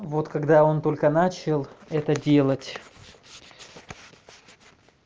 вот когда он только начал это делать